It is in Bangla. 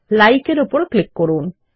LIKE এর উপর ক্লিক করুন